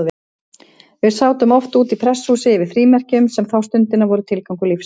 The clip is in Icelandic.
Við sátum oft úti í prestshúsi yfir frímerkjum, sem þá stundina voru tilgangur lífsins.